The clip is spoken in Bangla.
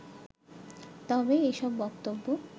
তবে এসব বক্তব্য